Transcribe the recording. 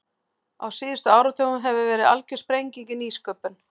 Á síðustu áratugum hefur verið algjör sprenging í nýsköpun.